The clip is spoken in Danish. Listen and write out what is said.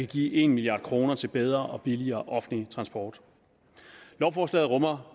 give en milliard kroner til bedre og billigere offentlig transport lovforslaget rummer